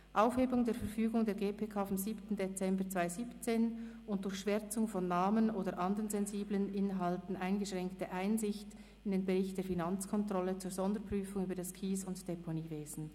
Aufhebung der Verfügung der GPK vom 7. Dezember 2017 und durch Schwärzen von Namen oder anderen sensiblen Inhalten eingeschränkte Einsicht in den Sonderbericht der Finanzkontrolle zur Sonderprüfung über das Kies- und Deponiewesen.